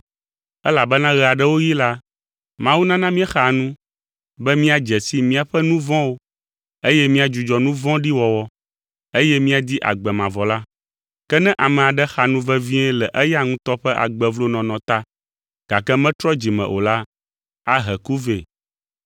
Elabena ɣe aɖewo ɣi la, Mawu nana míexaa nu be míadze si míaƒe nu vɔ̃wo eye míadzudzɔ nu vɔ̃ɖi wɔwɔ, eye míadi agbe mavɔ la. Ke ne ame aɖe xa nu vevie le eya ŋutɔ ƒe agbe vlo nɔnɔ ta, gake metrɔ dzi me o la, ahe ku vɛ.